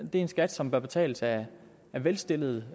er en skat som bør betales af velstillede